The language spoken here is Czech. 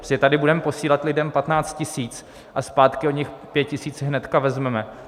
Protože tady budeme posílat lidem 15 tisíc a zpátky od nich 5 tisíc hnedka vezmeme.